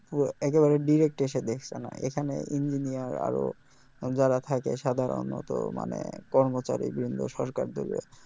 একেবারে direct এসে দেখছে না এখানে engineer আরও যারা থাকে সাধারনত মানে কর্মচারী বৃন্দ সরকারদের